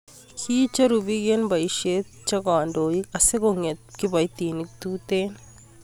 kiicheru biik eng' boisie che kandoik asikong'etu kiboitinik tutegen